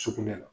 Sugunɛ la